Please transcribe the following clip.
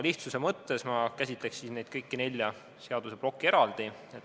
Lihtsuse mõttes ma käsitleksin kõiki nelja seaduseplokki eraldi.